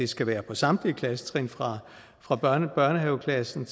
skal være på samtlige klassetrin fra fra børnehaveklassen